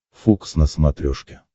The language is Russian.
фокс на смотрешке